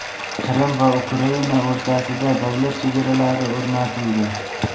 Qrim va Ukraina o‘rtasida davlat chegaralari o‘rnatildi.